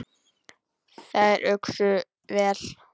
Þær uxu vel.